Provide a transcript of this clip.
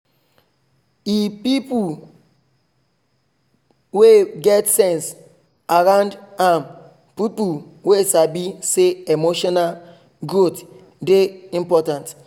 he put people wey get sense around am people wey sabi say emotional growth dey important